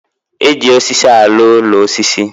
E ji osisi alụ úlọ osisi